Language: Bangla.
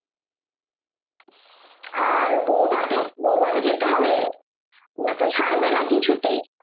আর বৌভাতে বৌভাতে যেতে হবে ওরা তো ছাড়বে না কিছুতেই